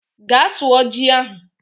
Gaa sụọ ji ahụ